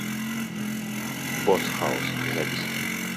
бос хаус запись